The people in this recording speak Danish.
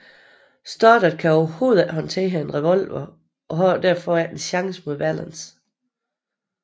Stoddard kan overhovedet ikke håndtere en revolver og har således ikke en chance mod Valance